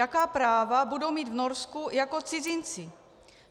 Jaká práva budou mít v Norsku jako cizinci?